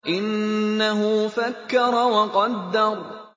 إِنَّهُ فَكَّرَ وَقَدَّرَ